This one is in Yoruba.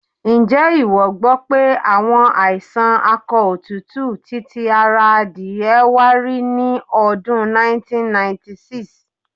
Ǹjé ìwọ gbọ́ pé àwọn àìsàn akọ òtútù ti ti ara adìẹ wá rí ní ọdún 1996?